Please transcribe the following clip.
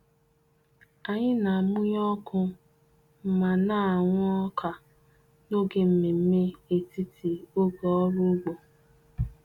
Anyị na-amụnye ọkụ ma na-ahụ ọka n'oge mmemme etiti oge ọrụ ugbo.